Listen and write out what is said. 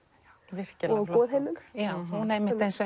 virkilega flott bók hún einmitt eins